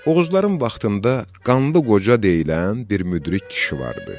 Oğuzların vaxtında Qanlı Qoca deyilən bir müdrik kişi vardı.